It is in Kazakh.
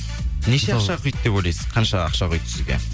неше ақша құйды деп ойлайсыз қанша ақша құйды сізге